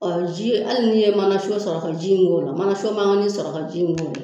ji hali ni ye mana sɔrɔ ka ji in k'o la mana makanni sɔrɔ ka ji in k'o la